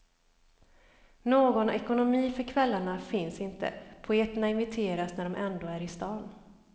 Någon ekonomi för kvällarna finns inte, poeterna inviteras när de ändå är i stan.